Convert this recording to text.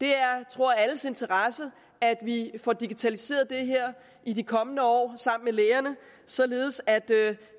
det er tror alles interesse at vi får digitaliseret det her i de kommende år således at